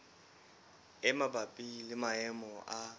e mabapi le maemo a